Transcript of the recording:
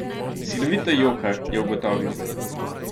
Silovito joka, je ugotovil.